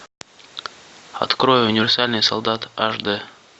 открой универсальный солдат аш дэ